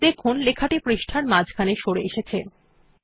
দেখুন লেখাটি পৃষ্টার মাঝখানে সরে এসেছে